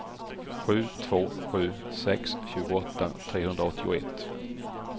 sju två sju sex tjugoåtta trehundraåttioett